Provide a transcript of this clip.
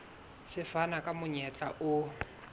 se fana ka monyetla o